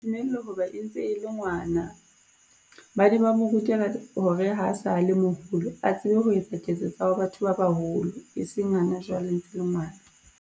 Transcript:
Ho ba e ntse e le ngwana, ba ne ba mo rutela hore ha a sa le moholo, a tsebe ho etsa ketso tsa batho ba baholo, e seng hana jwale ntse le ngwana.